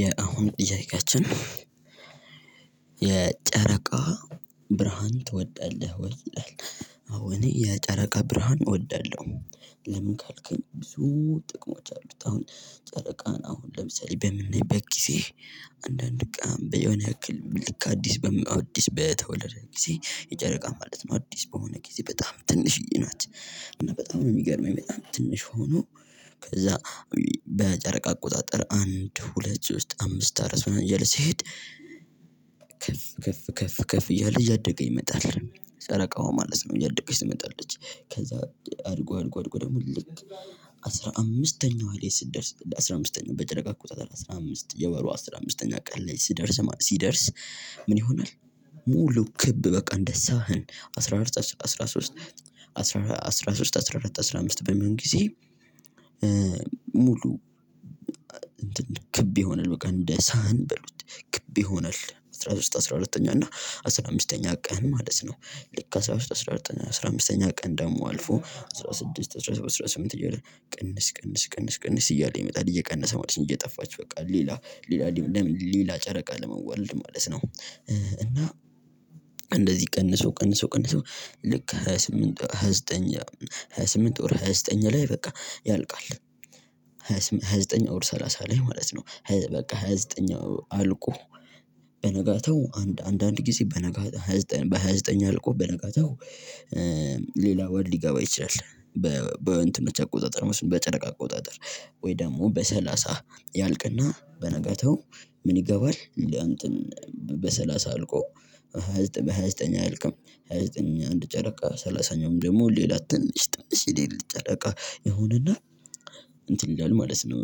የአሁን ጥያቄያችን የጨረቃ ብርሃን ትወዳለህ ወይ? አዎ እኔ የጨረቃ ብርሃን እወዳለሁ። ለምን ካልከኝ ብዙ ጥቅሞች አሉት አሁን ጨረቃን አሁን ለምሳሌ በምናይበት ጊዜ አንዳንድ ቃም በሆነ ያክል ልክ አዲስ በመአድ አዲስ በተወለደ ጊዜ የጨረቃ ማለት ነው አዲስ በሆነ ጊዜ በጣም ትንሽዬ ናት። እና በጣም የሚገርመኝ በጣም ትንሽ ሆኖ ከዛ በጨረቃ አቆጣጠር አንድ ሁለት ዘጠኝ አምስት አራት ምናምን ሲሄድ። ከፍ ከፍ ከፍ ከፍ ከፍ እያለ እያደገ ይመጣል። ጨረቃው ማለት ነው እያደገች ትመጣለች። ከዛ አድጎ አድጎ አድጎ ደግሞ ልክ አስራ አምስተኛው ላይ ስትደርስ አስራ አምስተኛው በጨረቃ አቆጣጠር አስራ አምስት የወሩ አስራ አምስተኛ ቀን ላይ ሲደርስ ሲደርስ ምን ይሆናል? ሙሉ ክብ በቃ እንደሳህን አስራ አራት አስራ ሶስት አስራ አስራ ሶስት አስራ አምስት በሚሆን ጊዜ። ሙሉ እንትን ክብ ይሆናል በቃ እንደ ሳህን በሉት ክብ ይሆናል አስራ ሶስት አስራ አራተኛ እና አስራ አምስተኛ ቀን ማለት ነው። ልክ አስራ አራት አስራ አምስተኛ ቀን ደግሞ አልፎ አስራ ስድስት አስራ ሰባት አስራ ስምንት እያለ ቅንስ ቅንስ ቅንስ እያለ ይመጣል እየቀነሰ ማለት ነው። እየጠፋች በቃ ሌላ ሌላ ሌላ ሌላ ጨረቃ ለመወለድ ማለት ነው። እና እንደዚህ ቀንሶ ቀንሶ ቀንሶ ልክ ሃያ ስምንት ሃያ ዘጠኝ ሃያ ስምንት ኦር ሃያ ዘጠኝ ላይ በቃ ያልቃል። ሃያ ዘጠኝ ኦር ሰላሳ ላይ ማለት ነው በቃ ሃያ ዘጠነኛው አልቆ በነጋታው አንድ አንድ አንድ ጊዜ በነጋታው ሃያ ዘጠነኛው አልቆ በነጋታው ሌላ ወር ሊገባ ይችላል። በእንትኖች አቆጣጠር ማለት ነው በጨረቃ አቆጣጠር ወይ ደግሞ በሰላሳ ያልቅና በነጋታው ምን ይገባል? እንትን በሰላሳ አልቆ ሃያ ዘጠኝ በሃያ ዘጠኝ አይልቅም። ሃያ ዘጠኝ አንድ ጨረቃ ሰላሳኛውም ደግሞ ሌላ ትንሽ ትንሽ የሌሊት ጨረቃ ይሆንና እንትን ይላል ማለት ነው።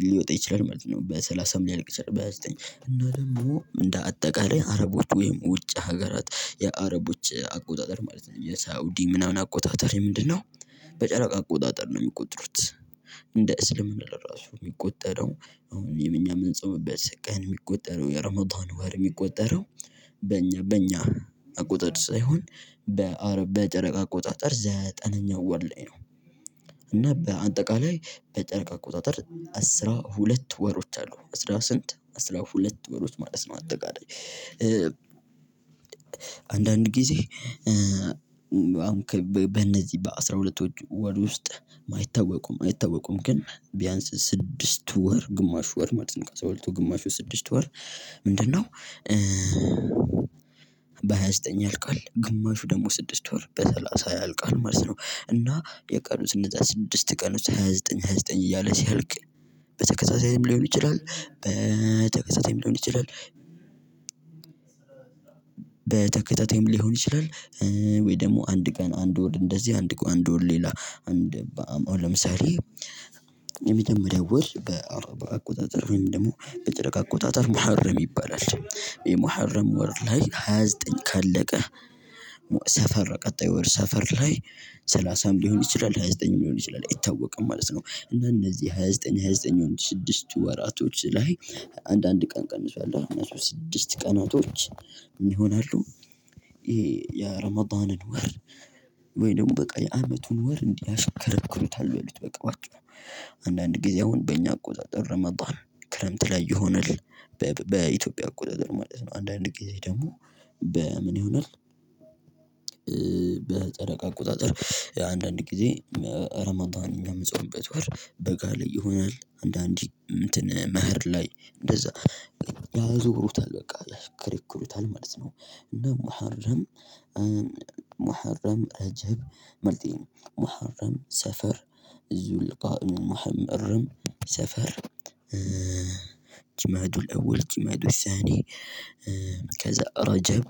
ሊወጣ ይችላል ማለት ነው በሰላሳ ምን ሊያልቅ ይችላል። በሃያ ዘጠኝ እና ደግሞ እንደ አጠቃላይ አረቦች ወይም ውጭ ሀገራት የአረቦች አቆጣጠር ማለት ነው የሳውዲ ምናምን አቆጣጠር ምንድነው? በጨረቃ አቆጣጠር ነው የሚቆጥሩት እንደ እስልምና ለራሱ የሚቆጠረው አሁን የኛ እምንፆምበት ቀን የሚቆጠረው የረመዳን ወር የሚቆጠረው። በእኛ በእኛ አቆጣጠር ሳይሆን በአረብ በጨረቃ አቆጣጠር ዘጠነኛው ወር ላይ ነው። እና በአጠቃላይ በጨርቅ አቆጣጠር አስራ ሁለት ወሮች አሉ አስራ ስንት አስራ ሁለት ወሮች ማለት ነው። አጠቃላይ አንዳንድ ጊዜ አሁን በእነዚህ በአስራ ሁለት ወር ውስጥ የማይታወቁም አይታወቁም ግን ቢያንስ ስድስት ወር ግማሽ ወር ማለት ነው ግማሹ ስድስት ወር ምንድነው? በሃያ ዘጠኝ ያልቃል ግማሹ ደግሞ ስድስት ወር በሰላሳ ያልቃል ማለት ነው። እና የቀኑ ስነ ስድስት ቀን ውስጥ ሃያ ዘጠኝ ሃያ ዘጠኝ እያለ ሲያልቅ በተከታይ ሊሆን ይችላል። በተከታታይም ሊሆን ይችላል። ወይ ደግሞ አንድ ቀን አንድ ወር እንደዚህ አንድ አንድ ወር ሌላ አንድ ለምሳሌ። የመጀመሪያው ወር በአውሮፓ አቆጣጠር ወይም ደግሞ በጨረቃ አቆጣጠር መኸረም ይባላል የመሀረም ወር ላይ ሃያ ዘጠኝ ካለቀ ሰፈር ቀጣይ ወር ሰፈር ላይ ሰላሳም ሊሆን ይችላል ሃያ ዘጠኝም ሊሆን ይችላል አይታወቅም ማለት ነው። እና እነዚህ ሃያ ዘጠኝ ሃያ ዘጠኝ ወንድ ስድስት ወራቶች ላይ አንዳንድ ቀን ቀንሷል እነሱ ስድስት ቀናቶች ይሆናሉ። ይሄ የረመዳንን ወር ወይ ደግሞ በቃ የአመቱን ወር እንዲያሽከረክሩታል በሉት በቃ በአጭሩ አንዳንድ ጊዜ አሁን በእኛ አቆጣጠር ረመዳን ክረምት ላይ ይሆንልን። በኢትዮጵያ አቆጣጠር ማለት ነው አንዳንድ ጊዜ ደግሞ በምን ይሆናል? በጨረቃ አቆጣጠር አንዳንድ ጊዜ ኧረመዳን እኛ የምጻምበበት ወር በጋ ላይ ይሆናል አንዳንድ እንትን መኸር ላይ እንደዛ ያዞሩታል በቃ ያሽከረክሩታል ማለት ነው። እና መሀርም መሀረም እጅብ መልጤ መሀረም ሰፈር እዙልቃ እሙህም እርም ሰፈር። ጭማዱ ለወል ጭማዱ ይሳኔ ረጀብ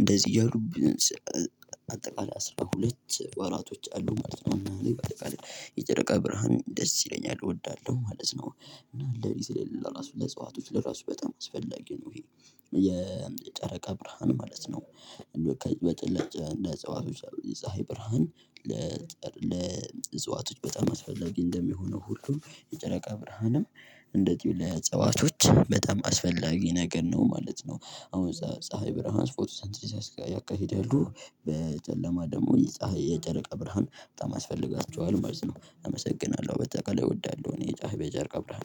እንደዚህ እያሉ አጠቃላይ አስራ ሁለት ወራቶች አሉ ማለት ነው። የጨረቃ ብርሃን ደስ ይለኛል እወዳለሁ ማለት ነው። እና ለሊት ለራሱ ለእጽዋቶች ለራሱ በጣም አስፈላጊ ነው። ይሄ የጨረቃ ብርሃን ማለት ነው። እንደው በቀን በጥላቻ ለጸዋቶች የፀሀይ ብርሃን ለእጽዋቶች በጣም አስፈላጊ እንደሚሆነው ሁሉም የጨረቃ ብርሃንም እንደዚሁ ለእጽዋቾች በጣም አስፈላጊ ነገር ነው ማለት ነው። አሁን ፀሀይ ብርሃን ፎቶ ሴንቴሲስ ያካሄደሉ በጨለማ ደግሞ የፀሀይ የጨረቃ ብርሃን በጣም ያስፈልጋቸዋል ማለትነው። አመሰግናለሁ በአጠቃላይ እወዳለሁ እኔ የፀሀይ በጨረቀ ብርሃን